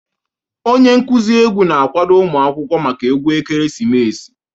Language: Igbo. Onye nkuzi egwu na-akwado ụmụ akwụkwọ maka egwu ekeresimesi